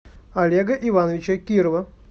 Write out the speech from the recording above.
олега ивановича кирова